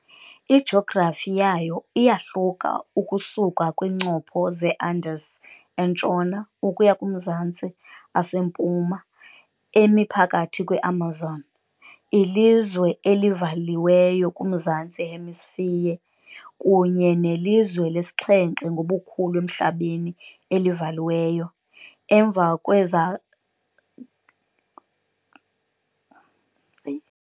Ijografi yayo iyahluka ukusuka kwiincopho zeAndes eNtshona, ukuya kumazantsi aseMpuma, emi phakathi kweAmazon . Ilizwe elivaliweyo kuMazantsi eHemisphere, kunye nelizwe lesixhenxe ngobukhulu emhlabeni elivaliweyo, emva kweKazakhstan, Mongolia, Chad, Niger, Mali ne Ethiopia.